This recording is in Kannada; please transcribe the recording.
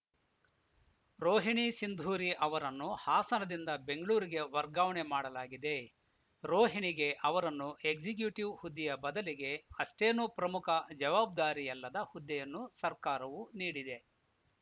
ರೋಹಿಣಿ ಸಿಂಧೂರಿ ಅವರನ್ನು ಹಾಸನದಿಂದ ಬೆಂಗಳೂರಿಗೆ ವರ್ಗಾವಣೆ ಮಾಡಲಾಗಿದೆ ರೋಹಿಣಿಗೆ ಅವರನ್ನು ಎಕ್ಸಿಕ್ಯೂಟಿವ್‌ ಹುದ್ದೆಯ ಬದಲಿಗೆ ಅಷ್ಟೇನು ಪ್ರಮುಖ ಜವಾಬ್ದಾರಿಯಲ್ಲದ ಹುದ್ದೆಯನ್ನು ಸರ್ಕಾರವು ನೀಡಿದೆ